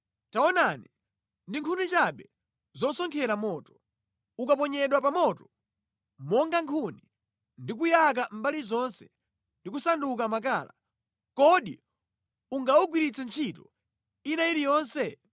Taonani, ndi nkhuni chabe zosonkhera moto. Ukaponyedwa pa moto monga nkhuni ndi kuyaka mbali zonse ndi kusanduka makala, kodi ungagwiritsidwe ntchito ina iliyonse?